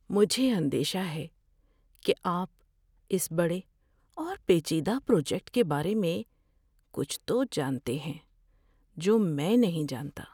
مجھے اندیشہ ہے کہ آپ اس بڑے اور پیچیدہ پروجیکٹ کے بارے میں کچھ تو جانتے ہیں جو میں نہیں جانتا۔